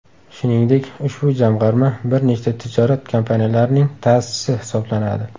Shuningdek, ushbu jamg‘arma bir nechta tijorat kompaniyalarining ta’sischisi hisoblanadi.